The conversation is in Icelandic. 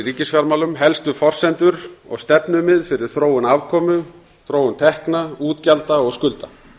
ríkisfjármálum helstu forsendur og stefnumið fyrir þróun afkomu tekna útgjalda og skulda